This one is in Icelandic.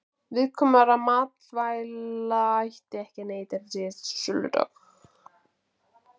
Viðkvæmra matvæla ætti ekki að neyta eftir síðasta söludag.